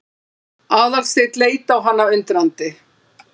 Aðalsteinn leit á hana undrandi.